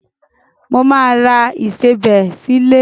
Mo máa ra ìsebẹ̀ sílé.